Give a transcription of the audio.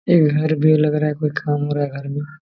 एक घर भी लग रहा है कोई काम हो रहा है घर में।